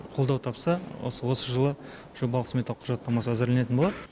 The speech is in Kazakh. қолдау тапса осы осы жылы жобалық смета құжаттамасы әзірленетін болады